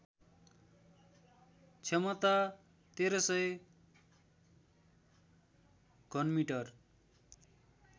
क्षमता १३०० घनमिटर